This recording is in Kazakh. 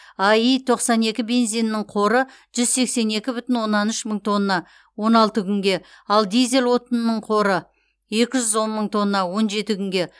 аи тоқсан екі бензинінің қоры жүз сексен екі бүтін оннан үш мың тонна он алты күнге ал дизель отынының қоры екі жүз он мың тонна он жеті күнге